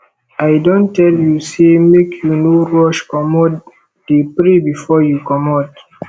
i don tell you sey make you no rush comot dey pray before you comot